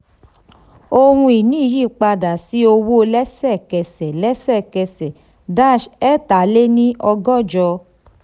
ohun ìní yí padà sí owó lẹ́sẹ̀kẹsẹ̀ lẹ́sẹ̀kẹsẹ̀ ẹ̀ta lé ní ọgọ́jọ.